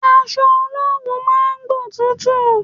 Aṣọ olowu máa ń gbótútù.